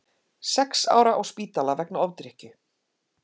Sex ára á spítala vegna ofdrykkju